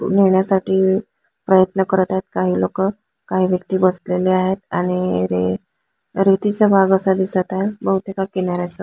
नेण्यासाठी प्रयत्न करत आहे काही लोक काही व्यक्ति बसलेले आहेत आणि रेती रेतीचा भाग असा दिसत आहे बहुतेक हा किनाऱ्याचा--